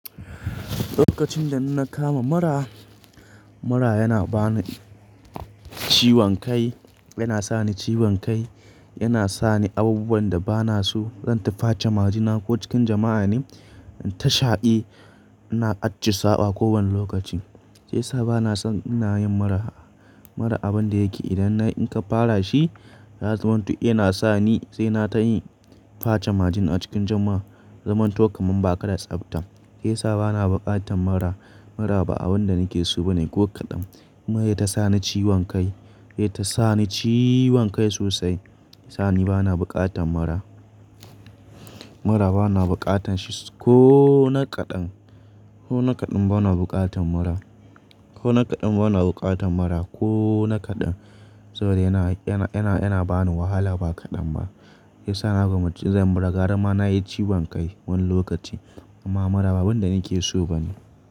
Lokacin da in na kama mura, mura yana ba ni ciwon kai, yana sa ni ciwon kai, yana sa ni abubuwan da ba na so. Zan ta face majina ko cikin jama'a ne? Ta sha'i, ina acci saɓa kowane lokaci. Sai sa ba na son ina yin mura, mura abin da yake idan na in ka fara shi, ya zamanto yana sa ni sai na ta yi face majina a cikin jama'a. Zamanto kaman ba ka da tsabta. Sai sa ba na bukatan mura, mura ba abin da nake so ba ne ko kaɗan. Kuma ya ta sa ni ciwon kai, ya ta sa ni ciwon kai sosai. Sai ni ba na bukatan mura. Mura ba na bukatan shi ko na kaɗan. Ko na kaɗan ba na bukatan mura. Ko na kaɗan ba na bukatan mura ko na kaɗan. Saboda yana, yana, yana, yana ba ni wahala ba kaɗan ba. Sai sa na koma cikin mura, gara ma na yi ciwon kai wani lokaci. Amma mura ba abin da nake so ba ne.